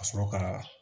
Ka sɔrɔ ka